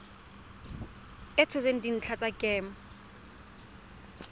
a tshotseng dintlha tsa kemo